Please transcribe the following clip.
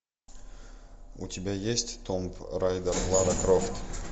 у тебя есть том райдер лара крофт